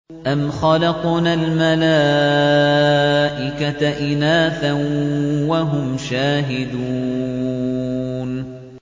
أَمْ خَلَقْنَا الْمَلَائِكَةَ إِنَاثًا وَهُمْ شَاهِدُونَ